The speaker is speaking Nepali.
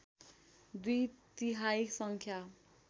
दुई तिहाई सङ्ख्या